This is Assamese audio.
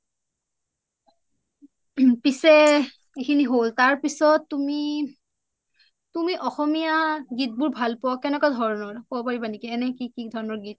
পিচে এইখিনি হ'ল তাৰপাছত তুমি, তুমি অসমীয়া গীত বুৰ ভাল পুয়া কেনেকুৱা ধোৰোনোৰ কোবো পাৰিবা নেকি, এনেই কি ধৰণৰ গীত